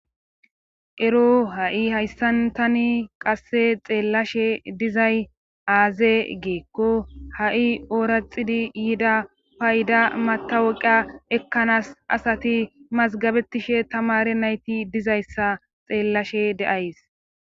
ero ha'i hayssan tani qasse xeellashe dizay aaze geekko ha'i ooraxidi yida payda mataweqa ekkanaas asati mazgabetishe tamare nayti dizayssa xeellashe de'ays